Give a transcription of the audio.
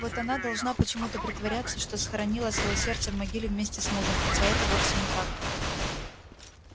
вот она должна почему-то притворяться что схоронила своё сердце в могиле вместе с мужем хотя это вовсе не так